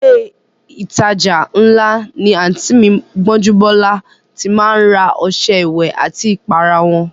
Ilé ìtajà ńlá ni àǹtí mi Gbọ́njúbọ́lá ti má ń ra ọṣẹ ìwẹ̀ àti ìpara wọn